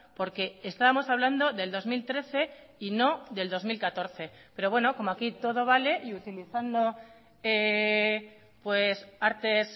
porque estábamos hablando del dos mil trece y no del dos mil catorce pero bueno como aquí todo vale y utilizando artes